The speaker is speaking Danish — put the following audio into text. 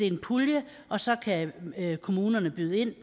en pulje og så kan kommunerne byde ind